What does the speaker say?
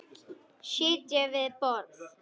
Sitja við borð